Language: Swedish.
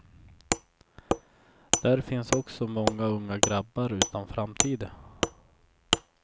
Där finns också många unga grabbar utan framtid.